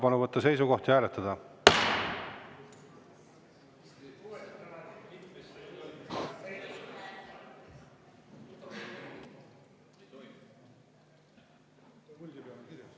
Palun võtta seisukoht ja hääletada!